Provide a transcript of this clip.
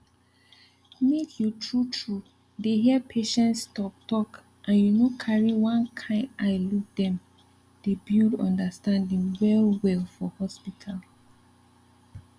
make you truetrue dey hear patients talk talk and you no carry one kind eye look dem dey build understanding well well for hospital